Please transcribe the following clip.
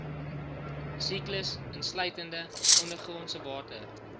siklus insluitende ondergrondsewater